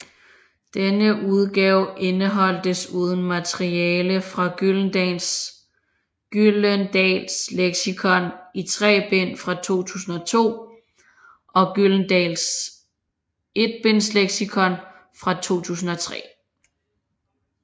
Denne udgave indeholdt desuden materiale fra Gyldendals Leksikon i tre bind fra 2002 og Gyldendals Etbindsleksikon fra 2003